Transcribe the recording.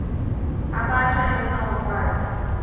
abatsha efuna ukwazi